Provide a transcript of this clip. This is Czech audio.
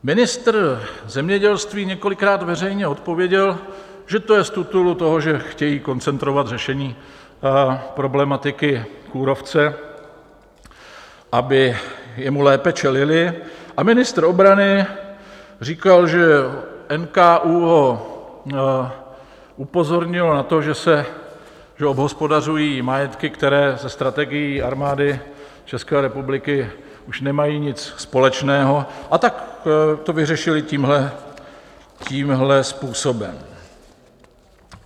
Ministr zemědělství několikrát veřejně odpověděl, že to je z titulu toho, že chtějí koncentrovat řešení problematiky kůrovce, aby mu lépe čelili, a ministr obrany říkal, že NKÚ ho upozornil na to, že obhospodařují majetky, které se strategií Armády České republiky už nemají nic společného, a tak to vyřešili tímhle způsobem.